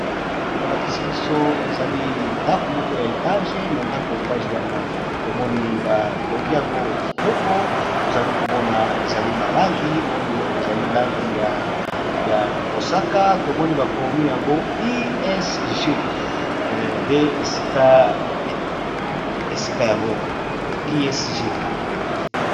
Bato ba lakisi biso ezali ndako moko ya etage na ndako ya etage wana to moni ba tongi yango kitoko to zali ko mona ezali na langi oyo ezali langi ya mosaka tomoni ba komi yango ISG nde esika yango ISG .